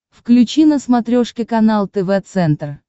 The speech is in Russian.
включи на смотрешке канал тв центр